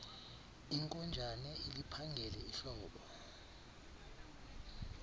inkonjane iliphangele ihlobo